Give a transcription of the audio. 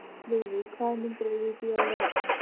Lúðvík, hvaða myndir eru í bíó á laugardaginn?